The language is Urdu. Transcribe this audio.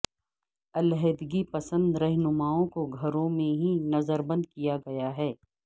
علیحدگی پسند رہنماوں کو گھروں میں ہی نظربند کیا گیا ہے